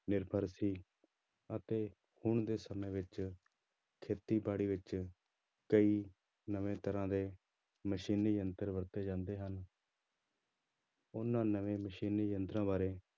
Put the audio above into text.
ਨਿਰਭਰ ਸੀ ਅਤੇ ਹੁਣ ਦੇ ਸਮੇਂ ਵਿੱਚ ਖੇਤੀਬਾੜੀ ਵਿੱਚ ਕਈ ਨਵੇਂ ਤਰ੍ਹਾਂ ਦੇ ਮਸ਼ੀਨੀ ਯੰਤਰ ਵਰਤੇ ਜਾਂਦੇ ਹਨ ਉਹਨਾਂ ਨਵੇਂ ਮਸ਼ੀਨੀ ਯੰਤਰਾਂ ਬਾਰੇ